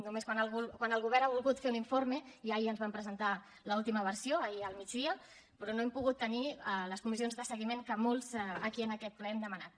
només quan el govern ha volgut fer un informe i ahir ens en van presentar l’última versió ahir al migdia però no hem pogut tenir les comissions de seguiment que molts aquí en aquest ple hem demanat